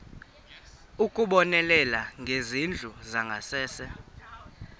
ukubonelela ngezindlu zangasese